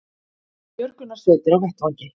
Björgunarsveitir á vettvangi